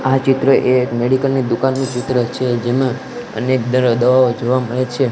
આ ચિત્ર એ એક મેડિકલ ની દુકાનનું ચિત્ર છે જેમાં અનેક દરો દવાઓ જોવા મળે છે.